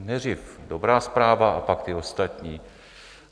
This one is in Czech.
Nejdřív dobrá zpráva a pak ty ostatní.